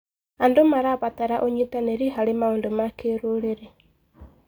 Andũ marabatara ũnyitanĩri harĩ maũndũ ma kĩrũrĩrĩ.